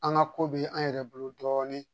An ka ko bɛ an yɛrɛ bolo dɔɔnin